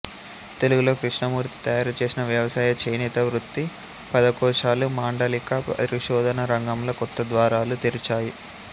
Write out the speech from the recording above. తెలుగులో కృష్ణమూర్తి తయారు చేసిన వ్యవసాయ చేనేత వృత్తి పదకోశాలు మాండలిక పరిశోధనా రంగంలో కొత్త ద్వారాలు తెరిచాయి